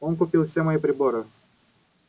он купил все мои приборы